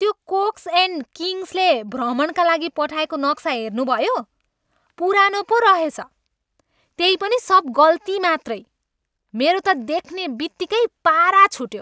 त्यो Cox and Kingsley भ्रमणका लागि पठाएको नक्सा हेर्नुभयो? पुरानो पो रहेछ। त्यै पनि सब गल्ती मात्रै! मेरो त देख्ने बित्तिकै पारा छुट्यो।